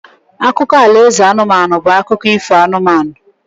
Akụkọ alaeze anụmanụ bụ akụkọ ifo anụmanụ